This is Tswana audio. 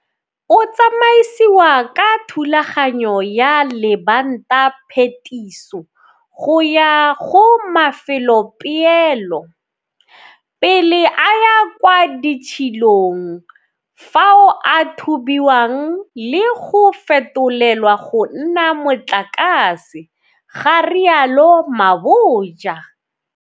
O tsamaisiwa ka thulaganyo ya lebantaphetiso go ya go mafelopeelo, pele a ya kwa ditshilong fao a thubiwang le go fetolelwa go nna motlakase, ga rialo Mabotja.